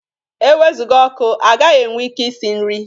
E wezụga ọkụ, agaghị enwe ike i si nri.